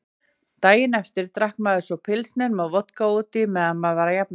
Daginn eftir drakk maður svo pilsner með vodka útí meðan maður var að jafna sig.